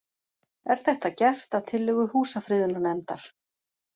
Er þetta gert að tillögu Húsafriðunarnefndar